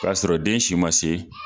K'asɔrɔ den si ma se